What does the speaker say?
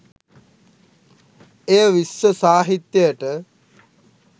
එය විශ්ව සාහිත්‍යයට